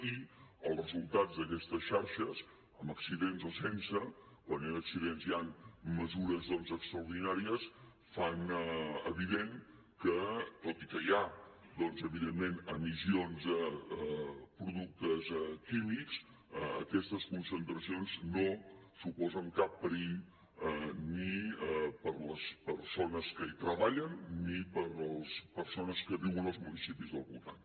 i els resultats d’aquestes xarxes amb accidents o sense quan hi han accidents hi han mesures doncs extraordinàries fan evident que tot i que hi ha doncs evidentment emissions de productes químics aquestes concentracions no suposen cap perill ni per a les persones que hi treballen ni per a les persones que viuen als municipis del voltant